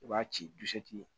I b'a ci dusu ti